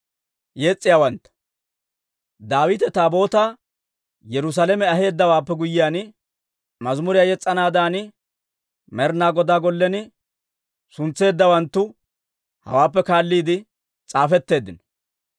Daawite Taabootaa Yerusaalame aheeddawaappe guyyiyaan, mazimuriyaa yes's'anaadan Med'inaa Godaw gollen suntseeddawantu hawaappe kaalliide s'aafetteeddino.